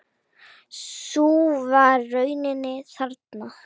Sú var raunin þarna.